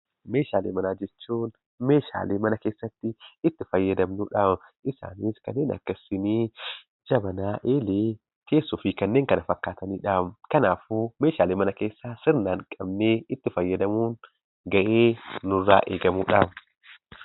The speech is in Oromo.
Meeshaalee manaa jechuun meeshaalee mana keessatti itti fayyadamnuudha. Meeshaaleen kunis Kanneen akka shiinii, jabaanaa, eelee, teessoo fi kanneen kana fakkaataniidha. Kanaafuu meeshaalee mana keessaa sirnaan qabnee itti fayyadamuun ga'ee nurraa eegamuudha.